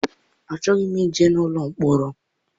Achọghị m ije n'ụlọ mkpọrọ.